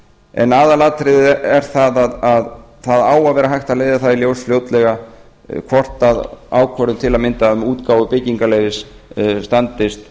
en aðalatriðið er það að það á að vera hægt að leiða það í ljós fljótlega hvort ákvörðun til að mynda um útgáfu byggingarleyfis standist